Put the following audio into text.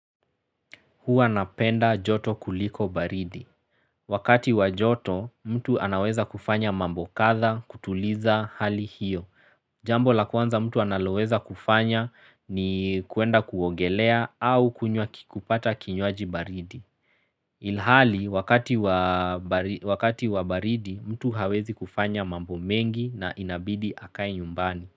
Huwa napenda joto kuliko baridi. Wakati wa joto mtu anaweza kufanya mambo katha kutuliza hali hiyo. Jambo la kwanza mtu anaweza kufanya ni kuenda kuongelea au kunywa kupata kinywaji baridi. Ilhali wakati wa baridi mtu hawezi kufanya mambo mengi na inabidi akae nyumbani.